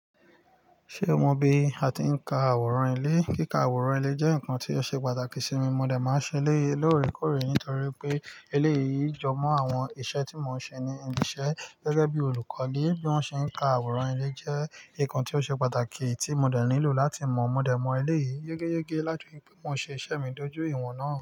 Ṣé o mọ bí a ti ń ka àwòrán ilé? Kíka àwòrán ilé jẹ́ nkan tí ó ṣe pàtàkì sí mi, mo dẹ máa ń ṣe eléyì lóòrèkóòrè nítorí pé eléyìí jọ mọ́ àwọn iṣẹ́ tí mo ń ṣe ní ibi iṣẹ́ gẹ́gẹ́bí olùkọ́ni, bí wọ́n ṣe ka àwòrán ilé jẹ́ nkan tí ó ṣe pàtàkì tí mo dẹ nílò láti mọ̀, mo dẹ mo eléyìí yégéyégé láti rí pé wọn ṣe iṣẹ́ mi dójú ìwọ̀n náà.